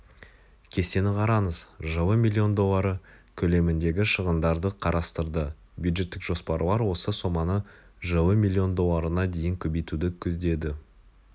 кестені қараңыз жылы миллион доллары көлеміндегі шығындарды қарастырды бюджеттік жоспарлар осы соманы жылы миллион долларына дейін көбейтуді көздеді